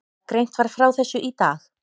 Greint var frá þessu í dag